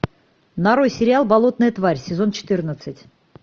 нарой сериал болотная тварь сезон четырнадцать